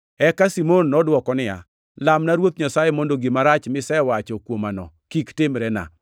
Eka Simon nodwoko niya, “Lamna Ruoth Nyasaye mondo gima rach misewacho kuomano kik timrena.”